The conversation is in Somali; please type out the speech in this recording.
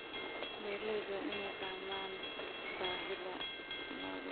Beeraleydu waa inay fahmaan baahida lo'dooda.